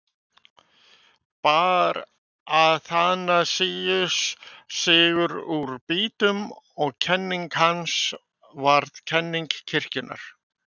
Bar Aþanasíus sigur úr býtum og kenning hans varð kenning kirkjunnar.